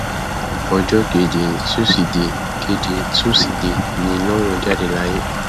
ọjọ kejì tusidee kejì tusidee ni lọrun jáde láyé